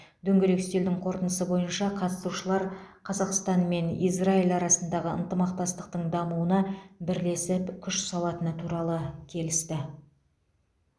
дөңгелек үстелдің қорытындысы бойынша қатысушылар қазақстан мен израиль арасындағы ынтымақтастықтың дамуына бірлесіп күш салатыны туралы келісті